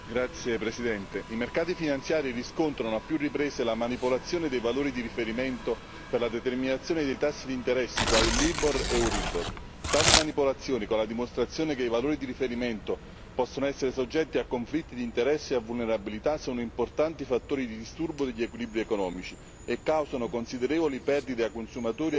Signor Presidente, onorevoli colleghi, i mercati finanziari riscontrano a più riprese la manipolazione dei valori di riferimento per la determinazione dei tassi d'interesse quali LIBOR ed EURIBOR. Tali manipolazioni, con la dimostrazione che i valori di riferimento possono essere soggetti a conflitti d'interesse e vulnerabilità, sono importanti fattori di disturbo degli equilibri economici e causano considerevoli perdite ai consumatori e agli investitori,